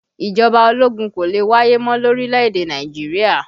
Ìjọba ológun kò lè wáyé mọ́ lórílẹ̀ èdè Nàìjíríà